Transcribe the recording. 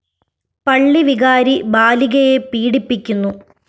പള്ളി വികാരി ബാലികയെ പീഡിപ്പിക്കുന്നു